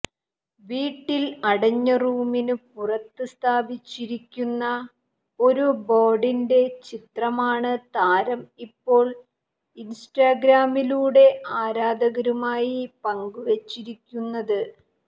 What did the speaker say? വീട്ടിൽ അടഞ്ഞ റൂമിന് പുറത്ത് സ്ഥാപിച്ചിരിക്കുന്ന ഒരു ബോർഡിൻ്റെ ചിത്രമാണ് താരം ഇപ്പോൾ ഇൻസ്റ്റാഗ്രാമിലൂടെ ആരാധകരുമായി പങ്കുവെച്ചിരിക്കുന്നത്